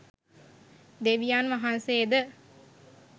දෙවියන් වහන්සේද